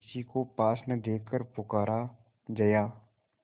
किसी को पास न देखकर पुकारा जया